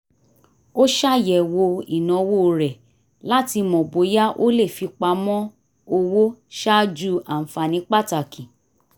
ó ṣàyẹ̀wò ìnáwó rẹ̀ láti mọ bóyá ó lè fipamọ́ owó ṣáájú ànfààní pàtàkì